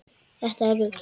Þetta er rugl.